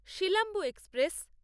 Silambu express